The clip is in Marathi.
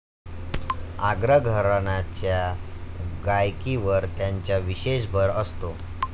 आग्रा घराण्याच्या गायकीवर त्यांचा विशेष भर असतो.